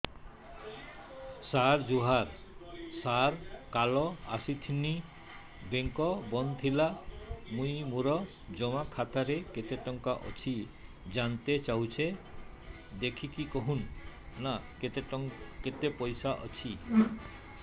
ସାର ଜୁହାର ସାର କାଲ ଆସିଥିନି ବେଙ୍କ ବନ୍ଦ ଥିଲା ମୁଇଁ ମୋର ଜମା ଖାତାରେ କେତେ ଟଙ୍କା ଅଛି ଜାଣତେ ଚାହୁଁଛେ ଦେଖିକି କହୁନ ନା କେତ ପଇସା ଅଛି